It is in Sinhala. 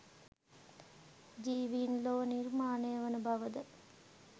ජීවීන් ලොව නිර්මාණය වන බවද?